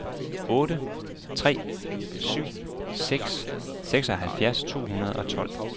otte tre syv seks seksoghalvfjerds to hundrede og tolv